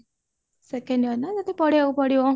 second year ନାଁ ତତେ ପଢିବାକୁ ପଡିବ